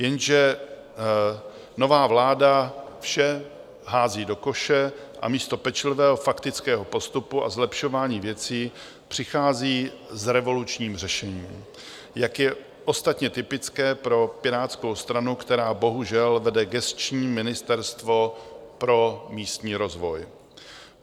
Jenže nová vláda vše hází do koše a místo pečlivého faktického postupu a zlepšování věcí přichází s revolučním řešením, jak je ostatně typické pro Pirátskou stranu, která bohužel vede gesční Ministerstvo pro místní rozvoj.